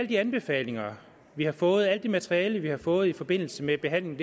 de anbefalinger vi har fået alt det materiale vi har fået i forbindelse med behandlingen